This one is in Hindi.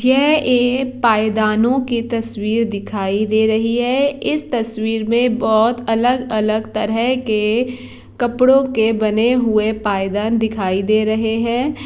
यह एक पैदानों की तस्वीर दिखाई दे रही है इस तस्वीर मे बोहोत अलग - अलग तरह के कपड़ों के बने हुए पैदान दिखाई दे रहे है।